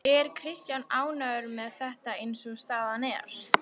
Er Kristján ánægður með þetta eins og staðan er?